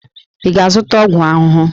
Ị ga-azụta ọgwụ ahụhụ!